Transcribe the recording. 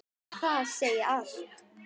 Það segir allt.